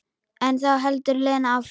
En þá heldur Lena áfram.